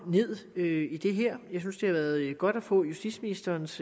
ned i det her jeg synes at det har været godt at få justitsministerens